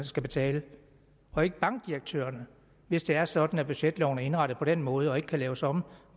skal betale og ikke bankdirektørerne hvis det er sådan at budgetloven er indrettet på den måde og ikke kan laves om